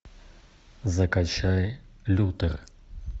закачай лютер